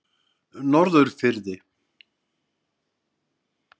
Norðurfirði